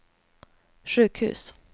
sjukhus